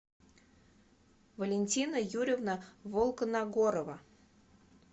валентина юрьевна волконагорова